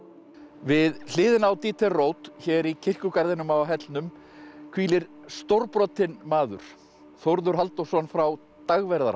við hliðina á Dieter Roth hér í kirkjugarðinum á hellnum hvílir stórbrotinn maður Þórður Halldórsson frá Dagverðará